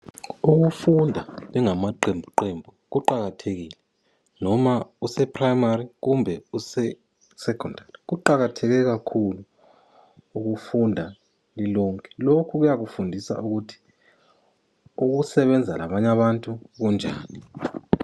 Ukufunda lingamaqembu qembu kuqakathekile noma useprimari kumbe usesekhondari . Kuqakatheke kakhulu ukufunda lilonke. Lokhu kuyakufundisa ukuthi ukusebenza labanye abantu kunjani.